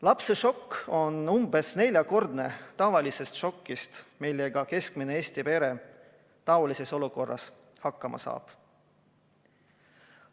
Lapse šokk on umbes neljakordne võrreldes tavalise šokiga, mille keskmine Eesti pere taolises olukorras saab.